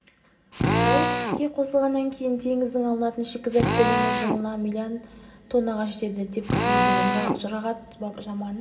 зауыт іске қосылғаннан кейін теңізден алынатын шикізат көлемі жылына миллион тоннаға жетеді деп күтілуде жұрағат баман